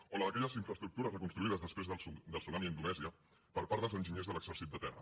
o la d’aquelles infraestructures reconstruïdes després del tsunami a indonèsia per part dels enginyers de l’exèrcit de terra